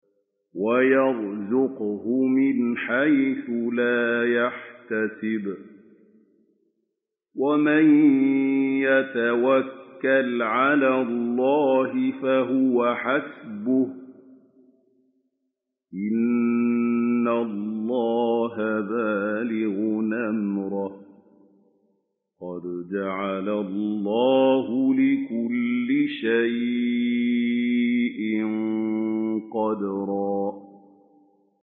وَيَرْزُقْهُ مِنْ حَيْثُ لَا يَحْتَسِبُ ۚ وَمَن يَتَوَكَّلْ عَلَى اللَّهِ فَهُوَ حَسْبُهُ ۚ إِنَّ اللَّهَ بَالِغُ أَمْرِهِ ۚ قَدْ جَعَلَ اللَّهُ لِكُلِّ شَيْءٍ قَدْرًا